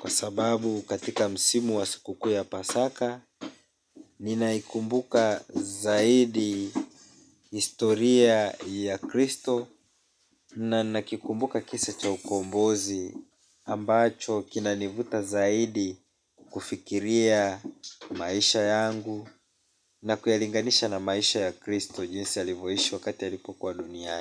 kwa sababu katika msimu wa siku kuu ya Pasaka Ninaikumbuka zaidi historia ya Kristo. Na nakikumbuka kisa cha ukombozi ambacho kinanivuta zaidi kufikiria maisha yangu. Na kuyalinganisha na maisha ya Kristo jinsi alivyoishi wakati alipokuwa dunia.